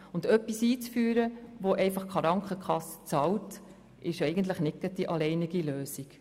Und etwas einzuführen, das durch die Krankenkasse bezahlt wird, ist nicht die alleinige Lösung.